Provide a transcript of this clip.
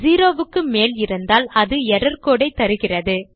zero க்கு மேல் இருந்தால் அது எர்ரர் கோடு ஐ தருகிறது